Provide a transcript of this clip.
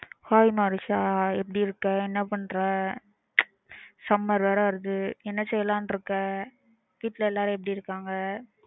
hi manisha எப்பிடி இருக்க என்ன பண்ணுற summer வேற வருது என்ன செய்யலாம்ன்னு இருக்க வீட்டுல எல்லாரும் எப்பிடி இருக்காங்க